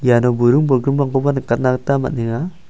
iano buring bolgrimrangkoba nikatna gita man·enga.